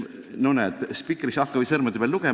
No näed, hakka või sõrmede peal lugema.